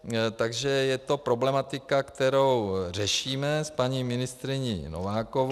Takže je to problematika, kterou řešíme s paní ministryní Novákovou -